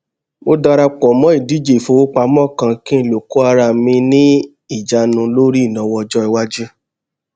mo dara pò mó ìdíje ìfowópamọ kan kí n lè kó ara mi ní ìjánu lórí ìnáwó ọjọìwájú